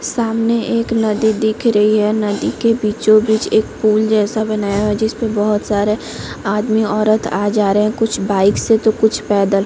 सामने एक नदी दिख रही है नदी के बीचो-बीच एक पूल जैसा बनाया है जिसमें बहोत सारा आदमी औरत आ जा रहै है कुछ बाइक से तो कुछ पैदल--